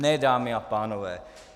Ne, dámy a pánové.